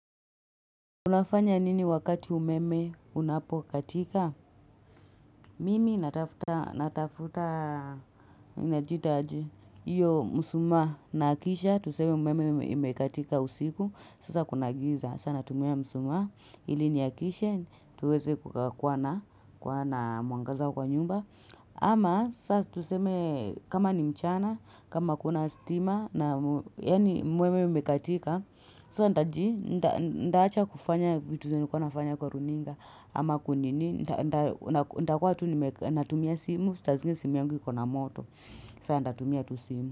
Unafanya nini wakati umeme unapokatika? Mimi natafuta natafuta ina jita aje, iyo msumaa naakisha, tuseme umeme imekatika usiku. Sasa kuna giza. Sana natumia msumaa ili niakishe, tuweze kuwa na kuwa na mwangaza kwa nyumba. Ama sasa tuseme kama ni mchana, kama hakuna stima na yani umeme umekatika. Saa ntaji, nitaacha kufanya vitu zenye nilikuwa nafanya kwa runinga ama kunini, nitakuwa tu natumia simu sita zingi simu yangu yiko na moto saa nitatumia tu simu.